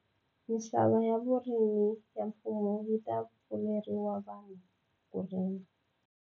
Misava ya vurimi ya mfumo yi ta pfuleriwa vanhu ku rima.